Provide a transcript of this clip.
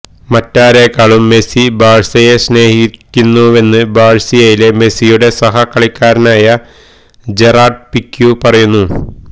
മറ്റാരേക്കാളും Messi ബാഴ്സയെ സ്നേഹിക്കുന്നുവെന്ന് ബാഴ്സയിലെ മെസിയുടെ സഹകളിക്കാരനായ ജെറാഡ് പിക്യു പറയുന്നു